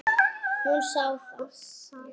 Hún sá það.